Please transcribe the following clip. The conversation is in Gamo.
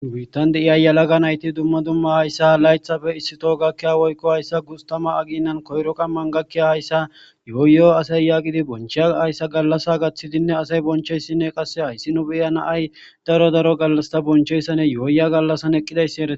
wiittan deiya yalaga nayti dumma dumma hayssa laythafe issito gakkiya woykko hayssa gustama aginnan koyro qamman gakkiya hayssa yooyo asay yaaqidi bonchiya hayssa gallasa gaththidinne asay boncheyssinne qasse hayssi nu beyana ay daro daro gallasta boncheyssane yooya gallassan eqqidayssi eretes.